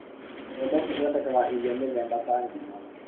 mbembe cithodekaga irio mītheba ta gima